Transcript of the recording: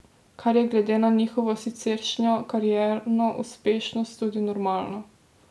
Kar je glede na njihovo siceršnjo karierno uspešnost tudi normalno.